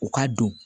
U ka don